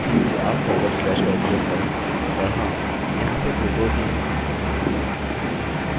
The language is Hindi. अतः ध्यान रखें कि आप फॉरवर्ड स्लैश का उपयोग करें और हाँ यहाँ ये photos नहीं हैं